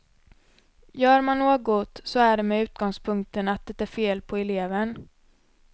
Gör man något, så är det med utgångspunkten att det är fel på eleven.